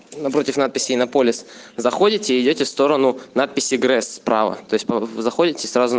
напротив надписи на полис заходите идёте сторону надписи грэс права то есть вы заходите сразу